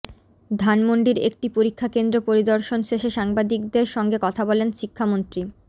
ধানমন্ডির একটি পরীক্ষা কেন্দ্র পরিদর্শন শেষে সাংবাদিকদের সঙ্গে কথা বলেন শিক্ষামন্ত্রী